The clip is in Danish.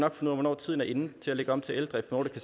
af hvornår tiden er inde til at lægge om til eldrift hvornår det